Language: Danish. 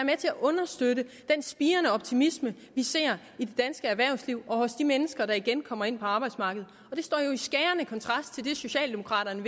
at understøtte den spirende optimisme vi ser i det danske erhvervsliv og hos de mennesker der igen kommer ind på arbejdsmarkedet det står jo i skærende kontrast til det socialdemokraterne